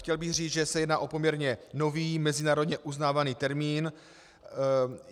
Chtěl bych říct, že se jedná o poměrně nový, mezinárodně uznávaný termín.